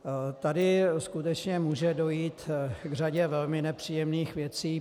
Tady skutečně může dojít k řadě velmi nepříjemných věcí.